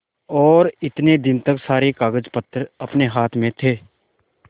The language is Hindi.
और इतने दिन तक सारे कागजपत्र अपने हाथ में थे